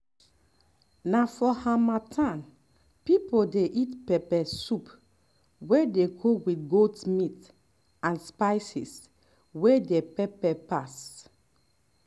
na for harmattan people dey eat pepper soup wey dey cook with goat meat and spices wey dey pepper pass